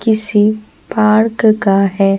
किसी पार्क का है।